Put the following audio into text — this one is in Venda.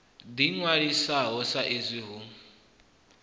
ḓi ṅwalisaho sa izwi hu